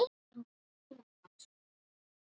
hann lét mér líða vel.